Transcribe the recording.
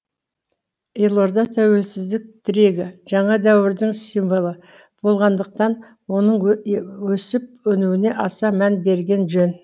елорда тәуелсіздік тірегі жаңа дәуірдің символы болғандықтан оның өсіп өнуіне аса мән берген жөн